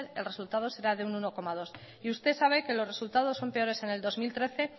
el resultado será de un uno coma dos y usted sabe que los resultados son peores en el dos mil trece